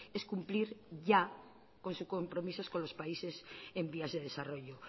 es cumplir ya con su compromiso con los países en vías de desarrollo